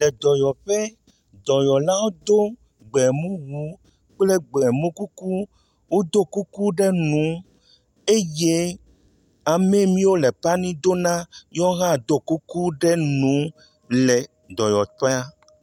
Edɔyɔƒe. dɔyɔlawo do gbemuwu kple gbemu kuku. Wodo kuku ɖe nu eye ame miwo lepani do na yewo hã do kuku ɖe nu le dɔyɔƒea.